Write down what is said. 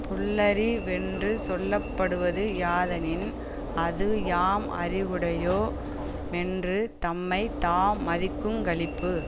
புல்லறி வென்று சொல்ல படுவது யாதெனின் அது யாம் அறிவுடையோ மென்று தம்மை தாம் மதிக்குங்களிப்பு